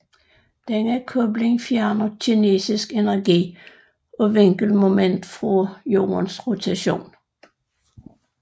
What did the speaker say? Denne kobling fjerner kinetisk energi og vinkelmoment fra Jordens rotation